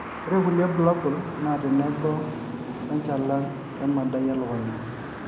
ore kulie bulabul naa tenebo oo enchalan we emadai elukunya